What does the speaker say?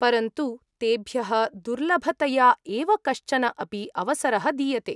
परन्तु तेभ्यः दुर्लभतया एव कश्चन अपि अवसरः दीयते।